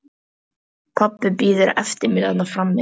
Pabbi bíður eftir mér þarna frammi.